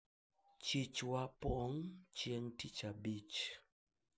soko yetu hujaa siku ya ijumaa